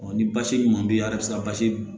ni basi ɲuman bɛ ye a yɛrɛ bɛ se ka basi dun